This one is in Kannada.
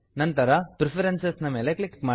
ನಂತರ ಪ್ರೆಫರೆನ್ಸಸ್ ಪ್ರಿಪರೆನ್ಸಸ್ ಮೇಲೆ ಕ್ಲಿಕ್ ಮಾಡಿ